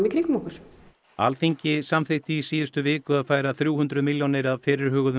í kringum okkur Alþingi samþykkti í síðustu viku að færa þrjú hundruð milljónir af fyrirhuguðum